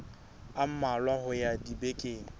a mmalwa ho ya dibekeng